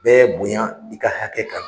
Bɛɛ bonya i ka hakɛ kan